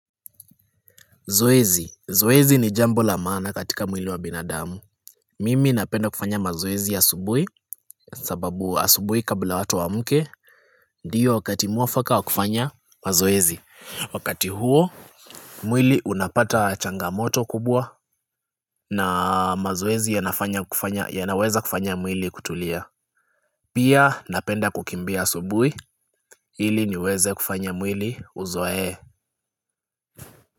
Zoezi. Zoezi ni jambo la maana katika mwili wa binadamu. Mimi napenda kufanya mazoezi ya asubuhi sababu asubuhi kabla watu waamke. Ndiyo wakati mwafaka wa kufanya mazoezi. Wakati huo, mwili unapata changamoto kubwa na mazoezi yanaweza kufanya mwili kutulia. Pia napenda kukimbia asubuhi. Ili niweze kufanya mwili uzoe.